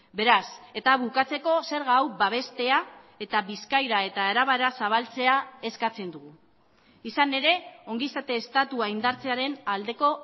beraz eta bukatzeko zerga hau babestea eta bizkaira eta arabara zabaltzea eskatzen dugu izan ere ongizate estatua indartzearen aldeko